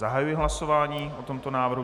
Zahajuji hlasování o tomto návrhu.